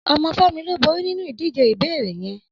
Ọmọ Femi ló bóri ninú idijé ìbéréé yèn